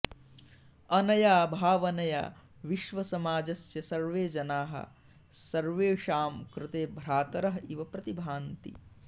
अनया भावनया विश्वसमाजस्य सर्वे जनाः सर्वेषां कृते भ्रातरः इव प्रतिभान्ति